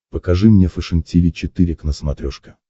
покажи мне фэшен тиви четыре к на смотрешке